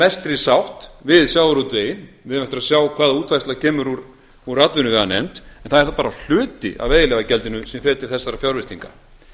mestri sátt við sjávarútveginn við eigum eftir að sjá hvaða útfærsla kemur úr atvinnuveganefnd en það er þá bara hluti af veiðileyfagjaldi sem fer til þessara fjárfestinga